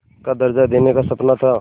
का दर्ज़ा देने का सपना था